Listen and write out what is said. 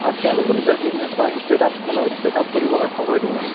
আৰু তেওঁলোকৰ নিজৰ business বা startup মানে setup কৰিবলৈ সময় দিয়ে মানে